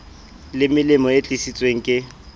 le melemo e tlisitsweng ke